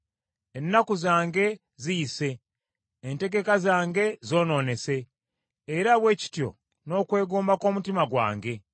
Ennaku zange ziyise entegeka zange zoonoonese, era bwe kityo n’okwegomba kw’omutima gwange.